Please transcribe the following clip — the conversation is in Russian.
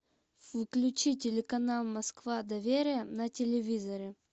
включи телеканал москва доверие на телевизоре